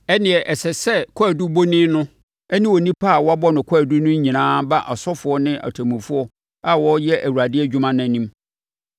ɛnneɛ, ɛsɛ sɛ kwaadubɔni no ne onipa a wabɔ no kwaadu no nyinaa ba asɔfoɔ ne atemmufoɔ a wɔreyɛ Awurade adwuma no anim.